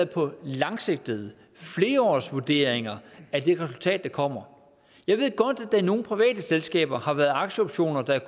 på langsigtede flereårige vurderinger af det resultat der kommer jeg ved godt at der i nogle private selskaber har været aktieoptioner der